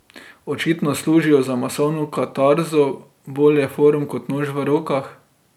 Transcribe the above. Očitno služijo za masovno katarzo, bolje forum kot nož v rokah.